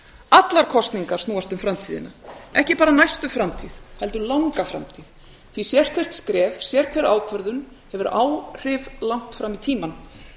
allar kosningar snúast um framtíðina ekki bara næstu framtíð heldur langa framtíð því að sérhvert skref sérhver ákvörðun hefur áhrif langt fram í tímann